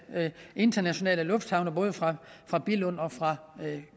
internationale lufthavne både fra billund og fra